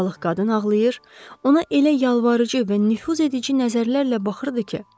Balıq qadın ağlayır, ona elə yalvarıcı və nüfuzedici nəzərlərlə baxırdı ki,